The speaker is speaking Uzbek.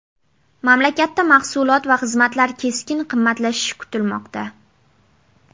Mamlakatda mahsulot va xizmatlar keskin qimmatlashishi kutilmoqda.